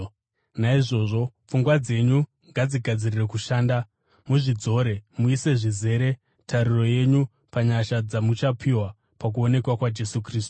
Naizvozvo, pfungwa dzenyu ngadzigadzirire kushanda, muzvidzore; muise, zvizere, tariro yenyu panyasha dzamuchapiwa pakuonekwa kwaJesu Kristu.